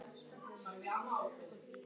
Guð sé því einungis tilbúningur mannsins.